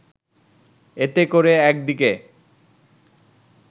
এতে করে একদিকে